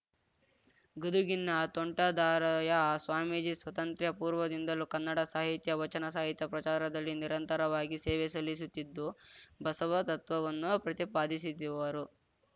ಗದುಗಿನ ತೋಂಟದಾರಯ ಸ್ವಾಮೀಜಿ ಸ್ವತಂತ್ರ್ಯ ಪೂರ್ವದಿಂದಲೂ ಕನ್ನಡ ಸಾಹಿತ್ಯ ವಚನ ಸಾಹಿತ್ಯ ಪ್ರಚಾರದಲ್ಲಿ ನಿರಂತರವಾಗಿ ಸೇವೆ ಸಲ್ಲಿಸುತ್ತಿದ್ದು ಬಸವ ತತ್ವವನ್ನು ಪ್ರತಿಪಾದಿಸಿದಿವರು